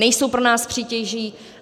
Nejsou pro nás přítěží.